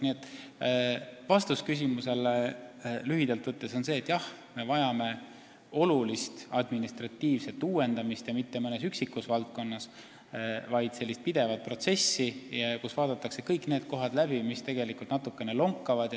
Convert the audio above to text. Nii et lühidalt võttes on vastus küsimusele selline: jah, me vajame administratiivset uuendamist, aga mitte mõnes üksikus valdkonnas, vaid sellist pidevat protsessi, kus vaadatakse kõik need kohad läbi, mis tegelikult natukene lonkavad.